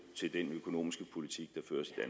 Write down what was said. til den økonomiske politik